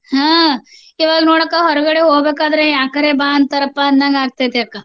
ಹಾ ಇವಾಗ್ ನೋಡಕ್ಕ ಹೊರ್ಗಡೆ ಹೋಬೇಕಾದ್ರೆ ಯಾಕರೆ ಬಾ ಅಂತಾರಪಾ ಅನ್ನಂಗಾಗ್ತತೆ ಅಕ್ಕ.